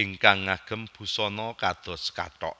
ingkang ngagem busana kados kathok